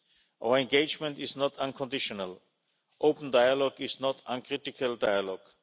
Our engagement is not unconditional open dialogue is not uncritical dialogue.